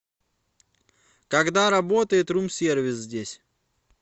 когда работает рум сервис здесь